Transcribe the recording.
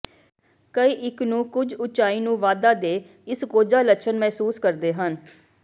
ਕਈ ਇੱਕ ਨੂੰ ਕੁਝ ਉਚਾਈ ਨੂੰ ਵਾਧਾ ਦੇ ਇਸ ਕੋਝਾ ਲੱਛਣ ਮਹਿਸੂਸ ਕਰਦੇ ਹਨ